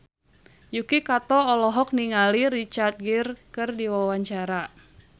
Yuki Kato olohok ningali Richard Gere keur diwawancara